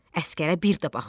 Əsgərə bir də baxdı.